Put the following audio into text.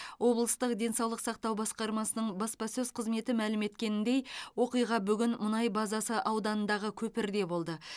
облыстық денсаулық сақтау басқармасының баспасөз қызметі мәлім еткеніндей оқиға бүгін мұнай базасы ауданындағы көпірде болды